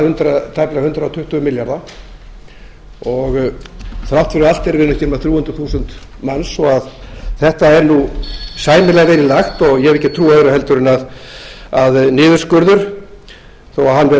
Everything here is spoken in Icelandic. heilbrigðismálanna tæpa hundrað tuttugu milljarða þrátt fyrir allt erum við ekki nema þrjú hundruð þúsund manns svo þetta er sæmilega vel í lagt ég hef ekki trú á öðru en að niðurskurður þó